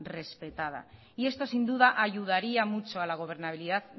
respetada y esto sin duda ayudaría mucho a la gobernabilidad